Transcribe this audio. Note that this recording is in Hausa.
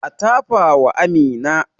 A tafa wa Amina